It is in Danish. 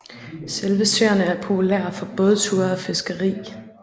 Selve søerne er populære for bådture og fiskeri